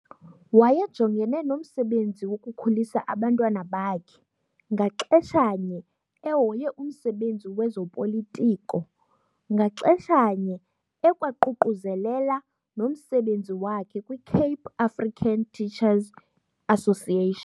Wayejongene nomsebenzi wokukhulisa abantwana bakhe ngaxeshanye ehoye umsebenzi wezoPolitiko ngaxesha nye ekwaququzelela nomsebenzi wakhe kwiCape African Teacher's Association.